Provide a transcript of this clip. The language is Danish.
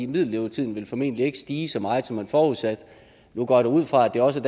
middellevetiden formentlig ikke ville stige så meget som man forudsatte nu går jeg da ud fra at det også